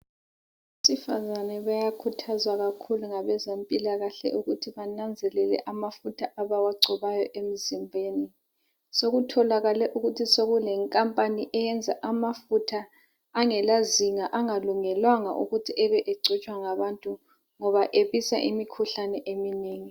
Abesifazane bayakhuthazwa kakhulu ngabezempila kahle ukuthi bananzelele amafutha abawagcobayo emzimbeni. Sokutholakele ukuthi sokune nkampani eyenza amafutha angela zinga angalungelwanga ukuthi ebegcotshwa ngabantu ngoba ebisa imikhuhlane eminengi.